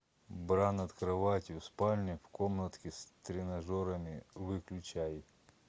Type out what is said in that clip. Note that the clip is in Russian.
бра над кроватью в спальне в комнатке с тренажерами выключай